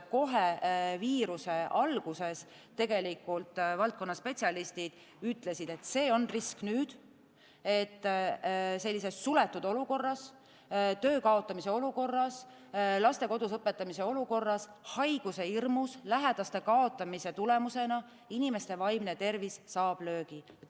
Kohe viiruse alguses valdkonna spetsialistid ütlesid, et see on risk, sest sellises suletud olukorras, töö kaotamise olukorras, laste kodus õpetamise olukorras, haiguse hirmus, lähedaste kaotamise tulemusena inimeste vaimne tervis saab löögi.